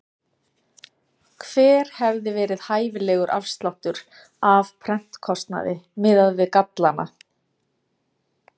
Hver hefði verið hæfilegur afsláttur af prentkostnaði miðað við gallana?